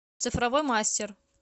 цифровой мастер